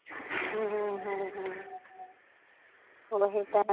ਓਹੀ ਤਾਂ ਹੈ ਨਾ